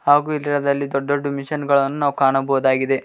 ಹಾಗು ಇದ್ರ ದಲ್ಲಿ ದೊಡ್ಡ ದೊಡ್ಡ ಮಷೀನ್ ಗಳನ್ನು ನಾವು ಕಾಣಬೌದಾಗಿದೆ.